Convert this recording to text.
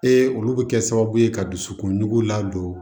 olu bɛ kɛ sababu ye ka dusukun ladon